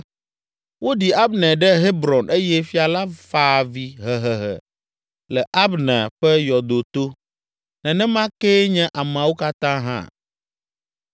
Woɖi Abner ɖe Hebron eye fia la fa avi hehehe le Abner ƒe yɔdo to, nenema kee nye ameawo katã hã.